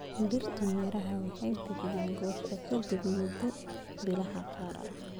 Dhirtu miro waxay bixiyaan goosho ka dib mudda bilaha qaar.